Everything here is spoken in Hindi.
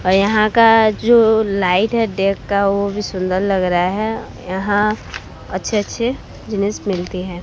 और यहां का जो लाइट है डेट का वह भी सुंदर लग रहा है यहां अच्छे अच्छे जिनिस मिलती हैं।